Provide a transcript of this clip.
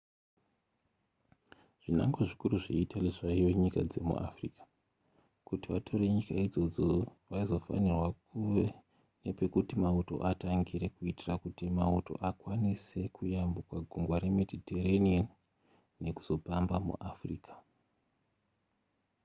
zvinangwa zvikuru zveitaly zvaive nyika dzemu africa kuti vatore nyika idzodzo vaizofanirwa kuve nepekuti mauto atangire kuitira kuti mauto akwanise kuyambuka gungwa remediterranean nekuzopamba muafrica